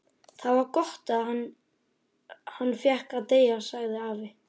Það var gott að hann fékk að deyja sagði afi.